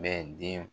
Bɛ den